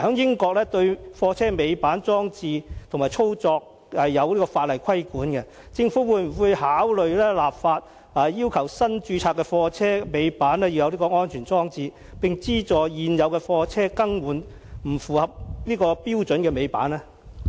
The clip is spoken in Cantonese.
英國對貨車尾板裝置及操作是有法例規管的，我想問政府會否考慮立法，要求新註冊的貨車必須設有尾板安全裝置，並資助現有的貨車把不符合標準的尾板更換呢？